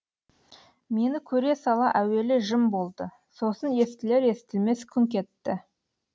мені көре сала әуелі жым болды сосын естілер естілмес күңк етті